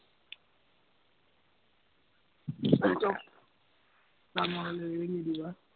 দান-বৰঙণি লাগিলে দিবা